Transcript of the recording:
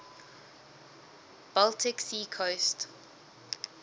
baltic sea coast